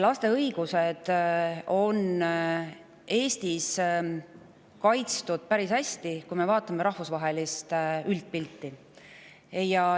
Laste õigused on Eestis kaitstud päris hästi, kui me vaatame rahvusvahelist üldpilti.